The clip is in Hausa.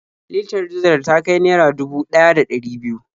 Litar dizal ta kai naira dubu ɗaya da ɗari biyu.